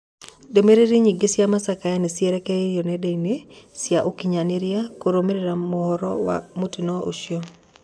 Ndũmĩrĩri nyingĩ cĩa macakaya nĩcierekeirio nendainĩ cia ũkinyanĩria kũrũmĩrĩra mohoro ma mũtino ũcio